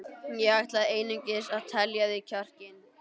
Ég ætlaði einungis að telja í þig kjarkinn.